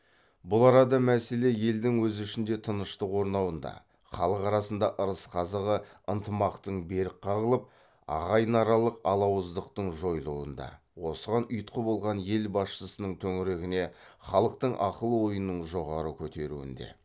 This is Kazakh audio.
бұл арада мәселе елдің өз ішінде тыныштық орнауында халық арасында ырыс қазығы ынтымақтың берік қағылып ағайынаралық алауыздықтың жойылуында осыған ұйытқы болған ел басшысының төңірегіне халықтың ақыл ойының жоғары көтеруінде